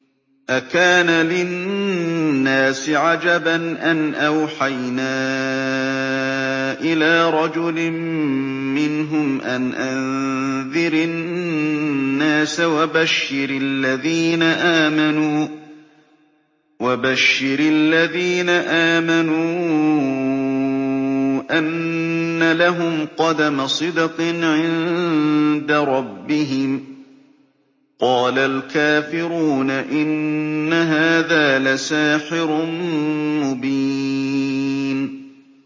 أَكَانَ لِلنَّاسِ عَجَبًا أَنْ أَوْحَيْنَا إِلَىٰ رَجُلٍ مِّنْهُمْ أَنْ أَنذِرِ النَّاسَ وَبَشِّرِ الَّذِينَ آمَنُوا أَنَّ لَهُمْ قَدَمَ صِدْقٍ عِندَ رَبِّهِمْ ۗ قَالَ الْكَافِرُونَ إِنَّ هَٰذَا لَسَاحِرٌ مُّبِينٌ